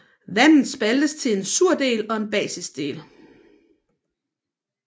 Vandet spaltes til en sur del og en basisk del